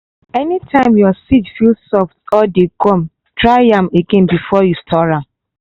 anytime your seed feel soft or dey gum dry am again before you store am.